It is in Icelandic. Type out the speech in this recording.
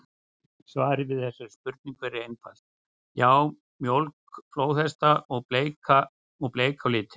Svarið við þessari spurningu er einfalt: Já, mjólk flóðhesta er bleik á litinn!